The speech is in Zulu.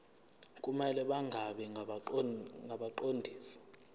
kumele bangabi ngabaqondisi